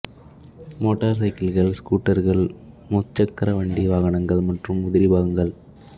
motor சைக்கிள்கள் ஸ்கூட்டர்கள் முச்சக்கர வண்டி வாகனங்கள் மற்றும் உதிரி பாகங்கள்